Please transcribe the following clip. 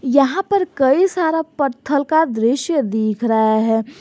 यहां पर कई सारा पत्थल का दृश्य दिख रहा है।